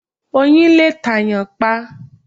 Oyin lè ta èyàn pa